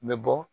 N bɛ bɔ